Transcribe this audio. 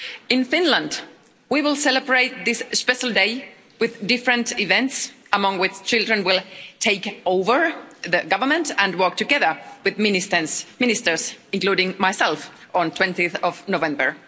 In Finland we will celebrate this special day with different events, among which children will take over the government and work together with Ministers, including myself, on 20 November.